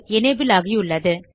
enable ஆகியுள்ளது